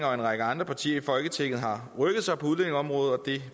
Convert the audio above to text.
og en række andre partier i folketinget har rykket sig på udlændingeområdet og det